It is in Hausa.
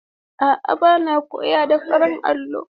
A'a bana koyo da farin allo.